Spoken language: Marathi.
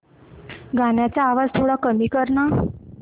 गाण्याचा आवाज थोडा कमी कर ना